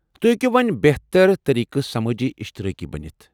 تُہۍ ہیٚکو وۄنۍ بہتر طریقہٕ سمٲجی اِشترٲقی بٔنتھ ۔